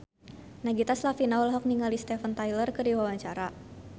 Nagita Slavina olohok ningali Steven Tyler keur diwawancara